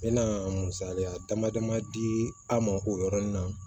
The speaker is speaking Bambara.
N mɛna misaliya dama dama di an ma o yɔrɔnin na